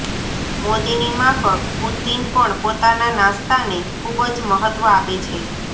મોદીની માફક પુતિન પણ પોતાના નાસ્તાને ખુબ જ મહત્વ આપે છે